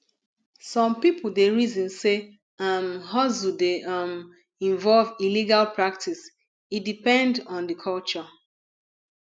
some pipo dey reason sey um hustle dey um involve illegal practice e depend on di culture